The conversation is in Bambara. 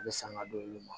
A bɛ sanga d'olu ma